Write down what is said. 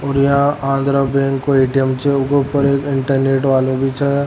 और यहाँ आगरा बैंक के एटीएम छे यूके ऊपर एक इंटरनेट वालो भी छे।